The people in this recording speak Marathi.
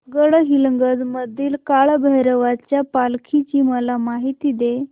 गडहिंग्लज मधील काळभैरवाच्या पालखीची मला माहिती दे